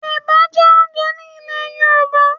Ẹ̀bà jẹ́ oúnjẹ ní ilè Yorùbá.